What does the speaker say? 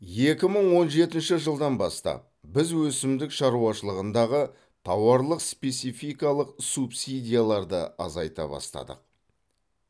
екі мың он жетінші жылдан бастап біз өсімдік шаруашылығындағы тауарлық спецификалық субсидияларды азайта бастадық